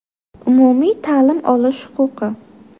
Umumiy ta’lim olish huquqi.